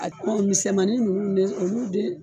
A misɛmanin ninnu ne olu de